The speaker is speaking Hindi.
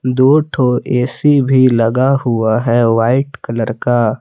दो ठो ए_सी भी लगा हुआ है व्हाइट कलर का।